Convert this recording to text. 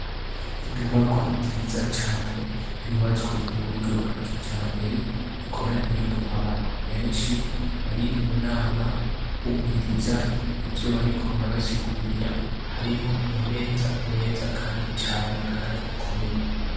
Inyubakwa nziza cane yubatswe muburyo bwakijambere ikoraniyemwo abantu benshi bari munama bumviriza ivyobariko barabasigurira harimwo amameza meza kandi cane kandi akomeye